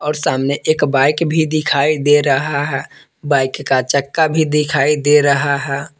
और सामने एक बाइक भी दिखाई दे रहा है बाइक का चक्का भी दिखाई दे रहा है।